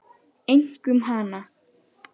Einkum hana.